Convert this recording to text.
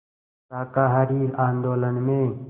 शाकाहारी आंदोलन में